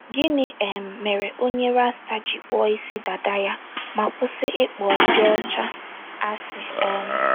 GỊNỊ um mere onye rasta ji kpụọ isi dada ya ma kwụsị ịkpọ ndị ọcha asị um?